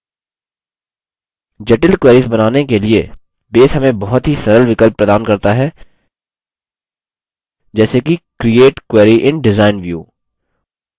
जटिल queries बनाने के लिए base हमें बहुत ही सरल विकल्प प्रदान करता है जैसे कि create query in design view